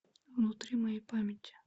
внутри моей памяти